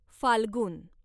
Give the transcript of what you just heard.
फाल्गुन